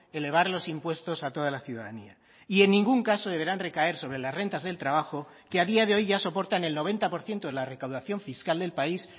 elevar los impuestos a toda la ciudadanía y en ningún caso deberán recaer sobre las rentas del trabajo que a día de hoy ya soportan el noventa por ciento de la recaudación fiscal del país